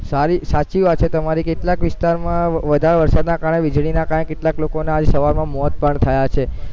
સારી સાચી વાત છે તમારી કેટલાક વિસ્તારમાં વધારે વરસાદના કારણે વીજળીના કારણે કેટલાક લોકોના આજ સવારમાં મોત પણ થયા છે,